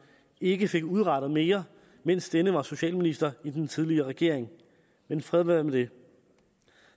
ikke fik udrettet mere mens denne var socialminister i den tidligere regering men fred være med det